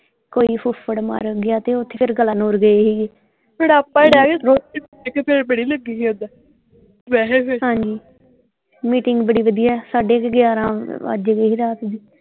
ਕੋਈ ਫੁੱਫੜ ਮਰ ਗਿਆ ਤੇ ਓਥੇ ਫੇਰ ਗਏ ਸੀਗੇ ਫਿਰ ਬੜੀ ਲੱਗੀ ਸੀ ਓਦਾਂ ਵੈਸੇ ਹਾਂਜੀ ਅ meeting ਬੜੀ ਵਧੀਆ ਸਾਢੇ ਕ ਗਿਆਰਾਂ ਵਜ ਗਏ ਸੀ ਰਾਤੀ ਨੂੰ।